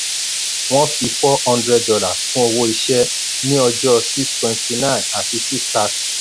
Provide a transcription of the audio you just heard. wọ́n fi four hundred dollars kún owó iṣẹ́ ní ọjọ́ six twenty nine àti six thirty.